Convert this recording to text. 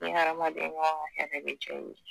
Ni hadamaden hɛrɛ bɛ ye